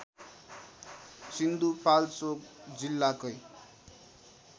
सिन्धुपाल्चोक जिल्लाकै